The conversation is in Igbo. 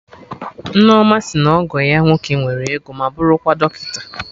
Nneoma sị na ọgọ ya nwoke nwere ego ma bụrụkwa dọkịta